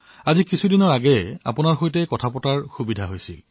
মাত্ৰ কিছুদিন পূৰ্বে মই আপোনাৰ সৈতে কথা পাতিবলৈ সুযোগ পাইছিলো